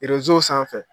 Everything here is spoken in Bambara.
sanfɛ